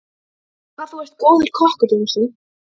Hvað þú er góður kokkur, Jónsi.